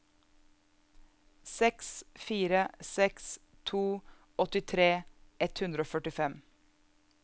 seks fire seks to åttitre ett hundre og førtifem